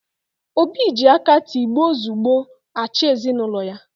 Obi ji aka tigbo zugbo, achị ezinaụlọ ya